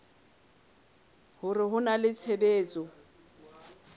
hore ho na le tshebetso